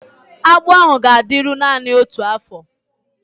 Agbụ ahụ ga-adịru naanị otu afọ